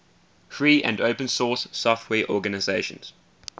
free and open source software organizations